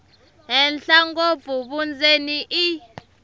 henhla ngopfu vundzeni i